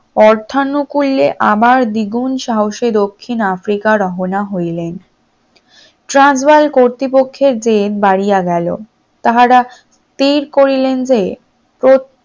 আর্থানুকুলে আবার দ্বিগুণ সাহসের দক্ষিণ আফ্রিকা রহনা হইলেন ট্রান্সবল কর্তৃপক্ষ জেদ বাড়িয়া গেল তাহারা স্থির করিলেন যে